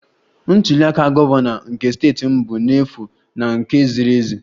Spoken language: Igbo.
Ntuli aka gọvanọ nke steeti m bụ n'efu na nke ziri ezi